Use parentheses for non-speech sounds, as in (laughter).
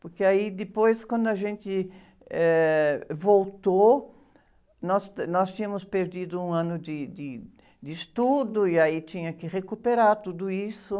Porque aí, depois, quando a gente, eh, voltou, nós, (unintelligible) nós tínhamos perdido um ano de , de, de estudo, e aí tinha que recuperar tudo isso.